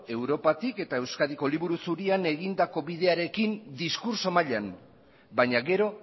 europatik eta euskadiko liburu zurian egindako bidearekin diskurtso mailan baina gero